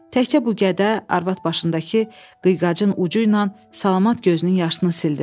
Təkcə bu qədə arvad başındakı qıyqacın ucu ilə salamat gözünün yaşını sildi.